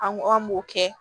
An ko an m'o kɛ